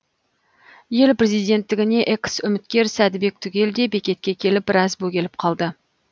ел президенттігіне экс үміткер сәдібек түгел де бекетке келіп біраз бөгеліп қалды